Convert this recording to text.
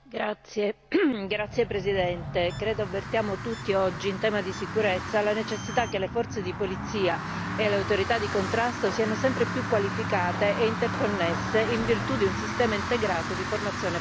Signor Presidente, onorevoli colleghi, credo che avvertiamo tutti oggi, in tema di sicurezza, la necessità che le forze di polizia e le autorità di contrasto siano sempre più qualificate e interconnesse in virtù di un sistema integrato di formazione permanente.